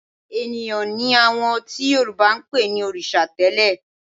Ènìyàn ni àwọn tí Yorùbá ń pè ní òrìṣà tẹ́lẹ̀